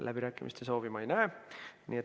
Läbirääkimiste soovi ma ei näe.